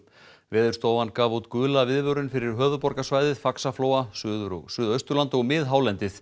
Veðurstofan gaf út gula viðvörun fyrir höfuðborgarsvæðið Faxaflóa Suður og Suðausturland og miðhálendið